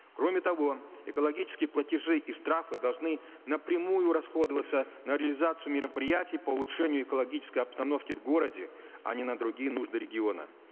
кроме того экологические платежи и штрафы должны напрямую расходоваться на реализацию мероприятий по улучшению экологической обстановки в городе а не на другие нужды региона